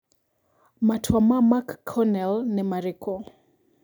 Matua ma McConnell nĩ marĩkũ?